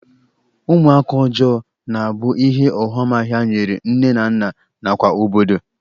Ụmụaka ọjọọ na-abụ ihe ọghọmahịa nyere nne na nna nakwa obodo.